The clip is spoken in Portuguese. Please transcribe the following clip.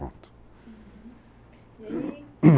Pronto. Uhum, e aí?